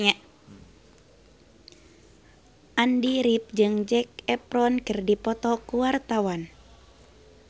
Andy rif jeung Zac Efron keur dipoto ku wartawan